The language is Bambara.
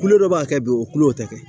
Kulo dɔ b'a kɛ bi o kulo tɛ kɛ